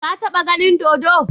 Ka taba ganin dodo?